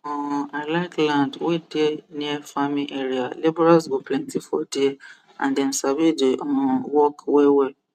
um i like land wey dey near farming area labourers go plenty for there and dem sabi the um work wellwell